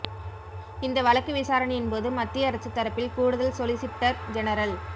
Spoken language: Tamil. இந்த வழக்கு விசாரணையின்போது மத்திய அரசு தரப்பில் கூடுதல் சொலிசிட்டா் ஜெனரல்